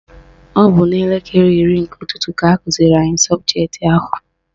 Ọ bụ n'elekere iri nke ụtụtụ ka akụziri anyị sọbụjetị ahụ.